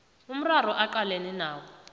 umraro aqalene nawo